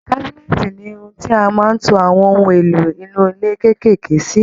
Cabinet ni ohun tí a máa ń to àwọn ohun èlò inú ilé kékèèké sí